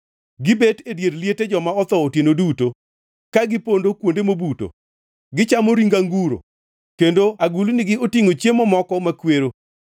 gibet e dier liete joma otho otieno duto ka, gipondo kuonde mobuto, gichamo ring anguro, kendo agulnigi otingʼo chiemo moko makwero;